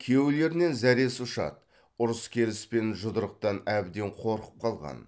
күйеулерінен зәресі ұшады ұрыс керіс пен жұдырықтан әбден қорқып қалған